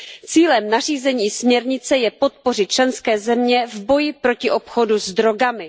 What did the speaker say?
Cílem nařízení i směrnice je podpořit členské země v boji proti obchodu s drogami.